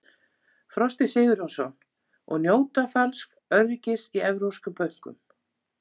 Frosti Sigurjónsson: Og njóta falsks öryggis í evrópskum bönkum?